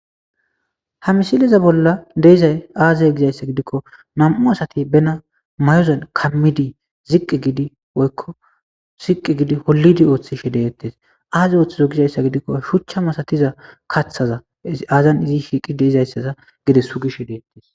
Ha misileza bolla deezay aaze gizayssa gidikko nam'u asati bena mayozan kammidi ziqqi gidi woykko ziqqi gidi hollidi ooththishe deyettes aaze ooththizo gizayssa gidikko shuchcha masatiza kaththaza aazan izi shiiqi deeizayssaza gide sugishe deettes.